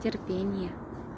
терпение